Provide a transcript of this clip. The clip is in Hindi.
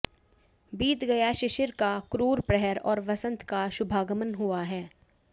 बीत गया शिशिर का क्रूर प्रहर और वसंत का शुभागमन हुआ है